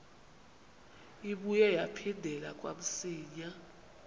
ibuye yaphindela kamsinya